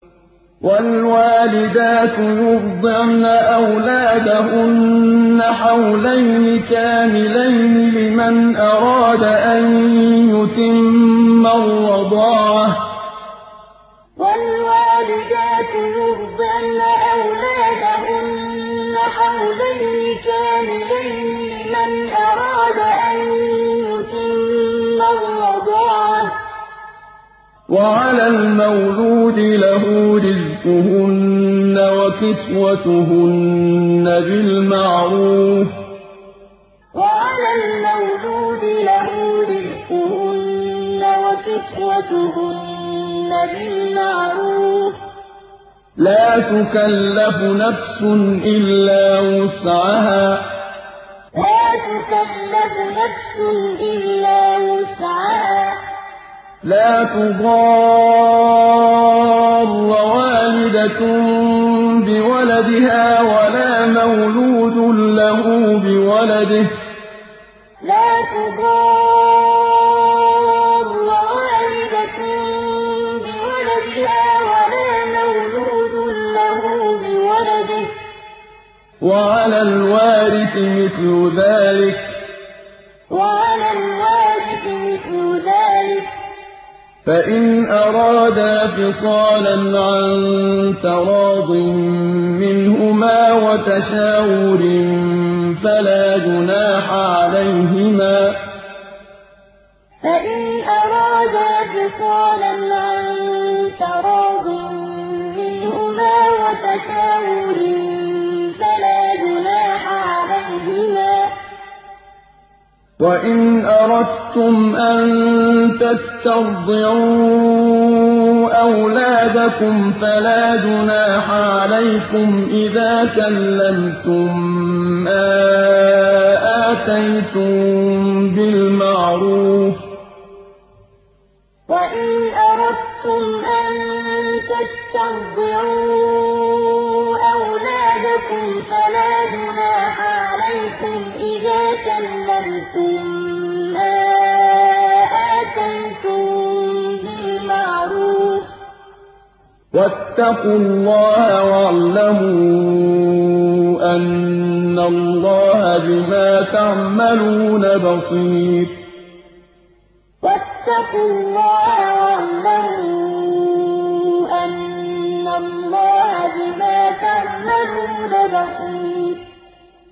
۞ وَالْوَالِدَاتُ يُرْضِعْنَ أَوْلَادَهُنَّ حَوْلَيْنِ كَامِلَيْنِ ۖ لِمَنْ أَرَادَ أَن يُتِمَّ الرَّضَاعَةَ ۚ وَعَلَى الْمَوْلُودِ لَهُ رِزْقُهُنَّ وَكِسْوَتُهُنَّ بِالْمَعْرُوفِ ۚ لَا تُكَلَّفُ نَفْسٌ إِلَّا وُسْعَهَا ۚ لَا تُضَارَّ وَالِدَةٌ بِوَلَدِهَا وَلَا مَوْلُودٌ لَّهُ بِوَلَدِهِ ۚ وَعَلَى الْوَارِثِ مِثْلُ ذَٰلِكَ ۗ فَإِنْ أَرَادَا فِصَالًا عَن تَرَاضٍ مِّنْهُمَا وَتَشَاوُرٍ فَلَا جُنَاحَ عَلَيْهِمَا ۗ وَإِنْ أَرَدتُّمْ أَن تَسْتَرْضِعُوا أَوْلَادَكُمْ فَلَا جُنَاحَ عَلَيْكُمْ إِذَا سَلَّمْتُم مَّا آتَيْتُم بِالْمَعْرُوفِ ۗ وَاتَّقُوا اللَّهَ وَاعْلَمُوا أَنَّ اللَّهَ بِمَا تَعْمَلُونَ بَصِيرٌ ۞ وَالْوَالِدَاتُ يُرْضِعْنَ أَوْلَادَهُنَّ حَوْلَيْنِ كَامِلَيْنِ ۖ لِمَنْ أَرَادَ أَن يُتِمَّ الرَّضَاعَةَ ۚ وَعَلَى الْمَوْلُودِ لَهُ رِزْقُهُنَّ وَكِسْوَتُهُنَّ بِالْمَعْرُوفِ ۚ لَا تُكَلَّفُ نَفْسٌ إِلَّا وُسْعَهَا ۚ لَا تُضَارَّ وَالِدَةٌ بِوَلَدِهَا وَلَا مَوْلُودٌ لَّهُ بِوَلَدِهِ ۚ وَعَلَى الْوَارِثِ مِثْلُ ذَٰلِكَ ۗ فَإِنْ أَرَادَا فِصَالًا عَن تَرَاضٍ مِّنْهُمَا وَتَشَاوُرٍ فَلَا جُنَاحَ عَلَيْهِمَا ۗ وَإِنْ أَرَدتُّمْ أَن تَسْتَرْضِعُوا أَوْلَادَكُمْ فَلَا جُنَاحَ عَلَيْكُمْ إِذَا سَلَّمْتُم مَّا آتَيْتُم بِالْمَعْرُوفِ ۗ وَاتَّقُوا اللَّهَ وَاعْلَمُوا أَنَّ اللَّهَ بِمَا تَعْمَلُونَ بَصِيرٌ